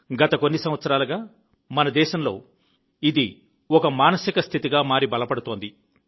గత కొన్ని సంవత్సరాలుగా మన దేశంలో ఇది ఒక మానసిక స్థితిగా మారి బలపడుతోంది